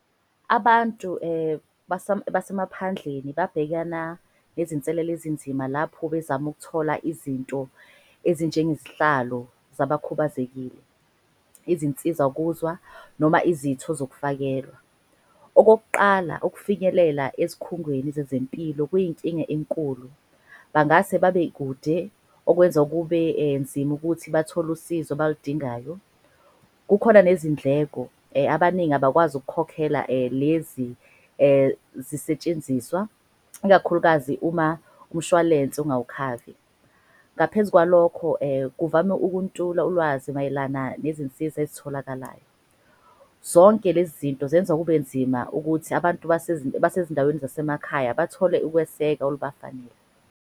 Abantu basemaphandleni babhekana nezinselele ezinzima lapho bezama ukuthola. Izinto ezinjengezihlalo zabakhubazekile, izinsiza kuzwa noma izitho zokufakelwa. Okokuqala, ukufinyelela ezikhungweni zezempilo kuyinkinga enkulu. Bangase babekude okwenza kube nzima ukuthi bathole usizo abaludingayo. Kukhona nezindleko abaningi abakwazi ukukhokhela lezi zisetshenziswa. Ikakhulukazi uma umshwalense ungawukhavi. Ngaphezu kwalokho kuvame ukuntula ulwazi mayelana nezinsiza ezitholakalayo. Zonke lezi zinto zenza kube nzima ukuthi abantu abasezindaweni zasemakhaya. Bathole ukweseka olubafanele.